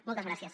moltes gràcies